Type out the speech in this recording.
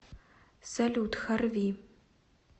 салют харви